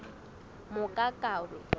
mokakawe